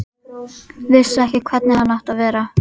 Vissi ekki hvernig hann átti að vera.